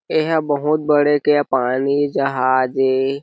एह बहोत बड़े के पानी जहाज ए--